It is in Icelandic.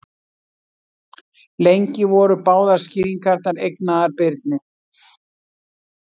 Lengi voru báðar skýringarnar eignaðar Birni.